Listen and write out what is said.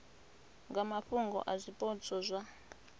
nga mafhungo a zwipotso zwa